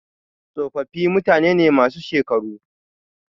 Tsofaffi mutane ne masu shekaru.